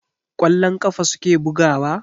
Kwallon ƙafa suke bugawa?